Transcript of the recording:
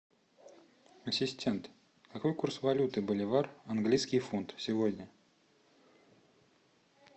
ассистент какой курс валюты боливар английский фунт сегодня